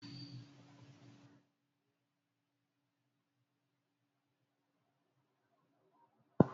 Ogun owo ati awọn iṣe arekereke bii yahoo yahoo waye ni awọn akoko iṣaaju